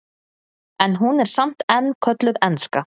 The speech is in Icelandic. en hún er samt enn kölluð enska